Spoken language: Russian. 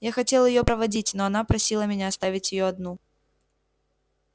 я хотел её проводить но она просила меня оставить её одну